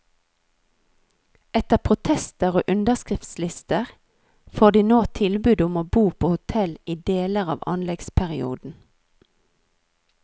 Etter protester og underskriftslister, får de nå tilbud om å bo på hotell i deler av anleggsperioden.